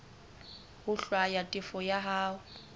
ho hlwaya tefo ya hao